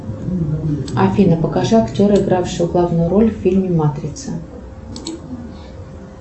афина покажи актера игравшего главную роль в фильме матрица